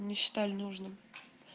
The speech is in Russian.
не считали нужным